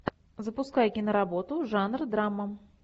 запускай киноработу жанр драма